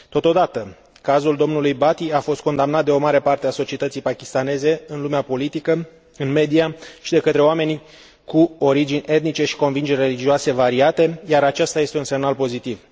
Totodată, cazul dlui Bhati a fost condamnat de o mare parte a societății pakistaneze în lumea politică, în media și de către oameni cu origini etnice și convingeri religioase variate, iar acesta este un semnal pozitiv.